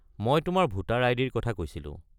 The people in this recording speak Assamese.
মই তোমাৰ ভোটাৰ আই.ডি.-ৰ কথা কৈছিলোঁ।